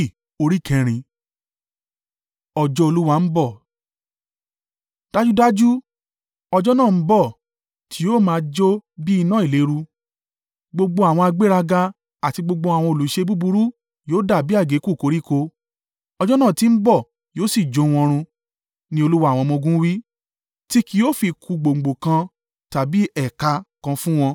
“Dájúdájú, ọjọ́ náà ń bọ̀; tí yóò máa jó bi iná ìléru. Gbogbo àwọn agbéraga, àti gbogbo àwọn olùṣe búburú yóò dàbí àgékù koríko: ọjọ́ náà tí ń bọ̀ yóò si jó wọn run,” ni Olúwa àwọn ọmọ-ogun wí, “Ti ki yóò fi kù gbòǹgbò kan tàbí ẹ̀ka kan fún wọn.